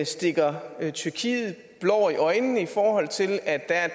stikker tyrkiet blår i øjnene i forhold til at der er